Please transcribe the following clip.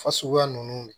Fasuguya ninnu